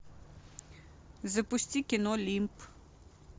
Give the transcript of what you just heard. запусти кино лимб